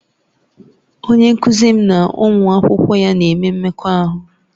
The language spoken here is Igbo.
Onye nkuzi m na ụmụ akwụkwọ ya na-eme mmekọahụ